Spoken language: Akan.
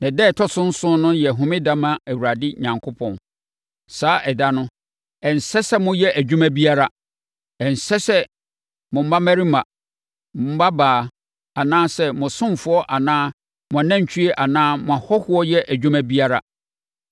na ɛda a ɛtɔ so nson no yɛ homeda ma Awurade Onyankopɔn. Saa ɛda no, ɛnsɛ sɛ moyɛ adwuma biara; ɛnsɛ sɛ mo mmammarima, mo mmabaa anaa mo asomfoɔ anaa mo anantwie anaa mo ahɔhoɔ yɛ adwuma biara.